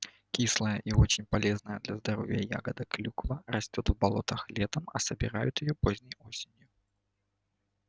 кислая и очень полезная для здоровья ягода клюква растёт в болотах летом а собирают её поздней осенью